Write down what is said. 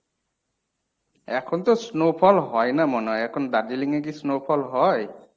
এখন তো snow fall হয় না মনে হয়। এখন দার্জিলিং এ কী snow fall হয়?